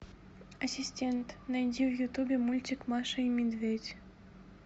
ассистент найди в ютубе мультик маша и медведь